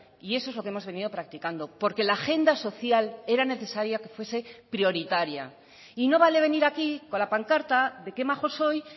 y eso es lo que hemos venido practicando porque la agenda social era necesaria que fuese prioritaria y no vale venir aquí con la pancarta de qué majo soy